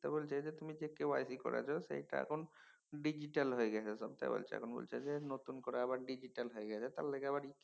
তা বলল যে তুমি যে KYC করাইছ সেইটা এখন ডিজিটাল হয়ে গেছে সবটা বলছে যে নতুন করে আবার ডিজিটাল হয়ে গেছে তার লিগা